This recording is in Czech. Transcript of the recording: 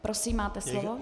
Prosím, máte slovo.